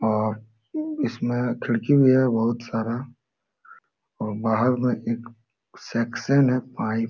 और इसमें खिड़की भी है बहुत सारा और बहार में एक सेक्शन है पाइप--